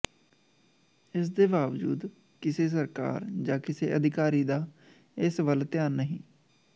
ਇਸ ਦੇ ਬਾਵਜੂਦ ਕਿਸੇ ਸਰਕਾਰ ਜਾ ਕਿਸੇ ਅਧਿਕਾਰੀ ਦਾ ਇਸ ਵੱਲ ਧਿਆਨ ਨਹੀ